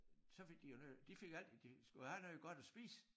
Så fik de jo noget de fik alt det de skulle have noget godt at spise